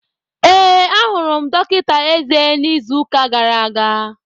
Ee, ahụrụ m dọkịta eze n'izu ụka gara aga.